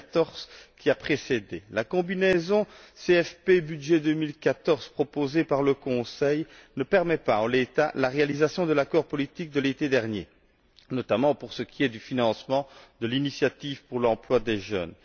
2014. La combinaison du CFP et du budget 2014 proposée par le Conseil ne permet pas, en l'état, la réalisation de l'accord politique de l'été dernier, notamment pour ce qui est du financement de l'initiative pour l'emploi des jeunes.